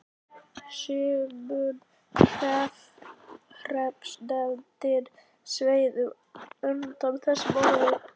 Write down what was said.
Sumum hreppsnefndarmönnum sveið undan þessum orðum.